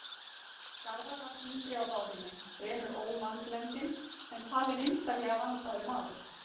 Garðar var þyngri á bárunni, fremur ómannblendinn, en talinn einstaklega vandaður maður.